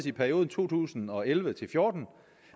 i perioden to tusind og elleve til fjorten